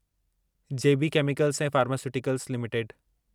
जे B chemicals ऐं pharmaceuticals limited